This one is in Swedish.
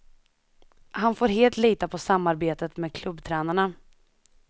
Han får helt lita på samarbetet med klubbtränarna.